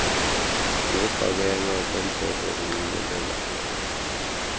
nokufakelwa kombhobho wokunxibelela